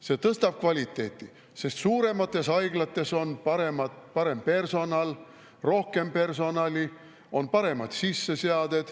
See tõstab kvaliteeti, sest suuremates haiglates on parem personal, rohkem personali, on parem sisseseade.